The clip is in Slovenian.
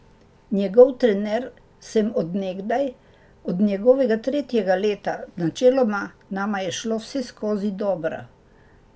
Njegov trener sem od nekdaj, od njegovega tretjega leta, načeloma nama je šlo vseskozi dobro.